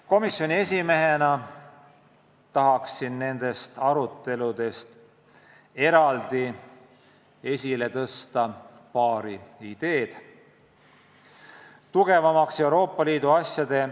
Komisjoni esimehena tahaksin nendest aruteludest eraldi esile tõsta paari ideed.